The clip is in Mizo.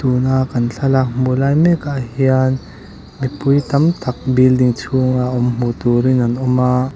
tuna kan thlalak hmuh lai mekah hian mipui tam tak building chunga awm hmuh turin an awma.